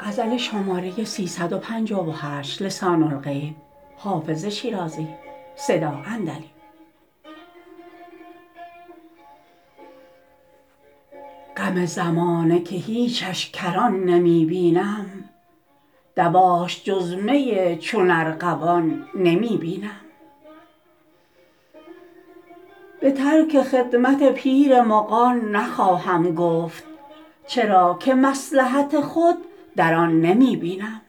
غم زمانه که هیچش کران نمی بینم دواش جز می چون ارغوان نمی بینم به ترک خدمت پیر مغان نخواهم گفت چرا که مصلحت خود در آن نمی بینم